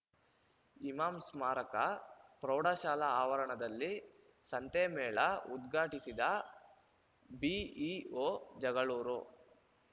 ಇಮಾಂ ಸ್ಮಾರಕ ಪ್ರೌಢಶಾಲಾ ಆವರಣದಲ್ಲಿ ಸಂತೆ ಮೇಳ ಉದ್ಘಾಟಿಸಿದ ಬಿಇಒ ಜಗಳೂರು